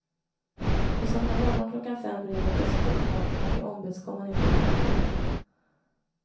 På söndag morgon klockan fem ringer plötsligt telefonen och jag ombeds komma ner till kontoret.